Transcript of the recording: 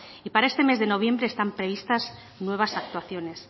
y para este mes de noviembre están previstas nuevas actuaciones